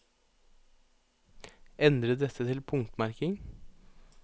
Endre dette til punktmerking